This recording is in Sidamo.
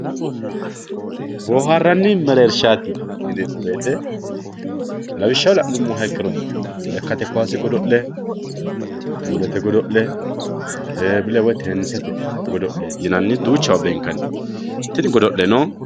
boohaaranni mereershaati yineemo woyiite lawishaho la'nummoha ikkiro lekkate kaase god'le puulete godo'le teebile woyi teenisete godo'le yinanni duuchawa beenkanni tini godo'leno.